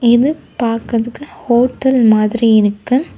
இது பாக்குறதுக்கு ஹோட்டல் மாதிரி இருக்கு.